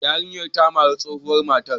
Yarinyar ta mari tsohuwar matar.